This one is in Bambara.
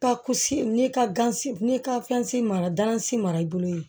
Ka kusi n'i ka gansi n'i ka fɛnsi mara mara i bolo yen